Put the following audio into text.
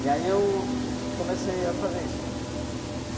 E aí eu comecei a fazer isso, né?